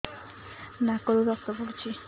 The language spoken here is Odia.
ନାକରୁ ରକ୍ତ ପଡୁଛି